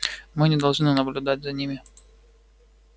мы не должны наблюдать за ними